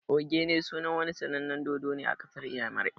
"Ogene" sunan wani sanannen dodo ne a ƙasar inyamurai